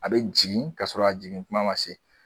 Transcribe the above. A be jigin ka sɔrɔ a jigin kuma ma se.